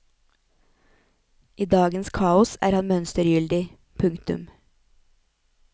I dagens kaos er han mønstergyldig. punktum